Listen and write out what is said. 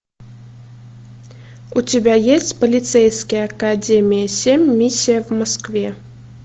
у тебя есть полицейская академия семь миссия в москве